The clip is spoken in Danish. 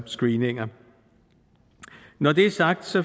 screeninger når det er sagt